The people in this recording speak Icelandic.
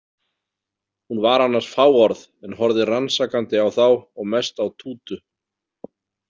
Hún var annars fáorð en horfði rannsakandi á þá og mest á Tútu.